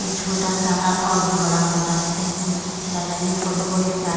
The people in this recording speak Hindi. ये छोटा सा और भी बड़ा होता है देखने में अच्छा लग रहा है ये फोटो बड़ी प्यारी --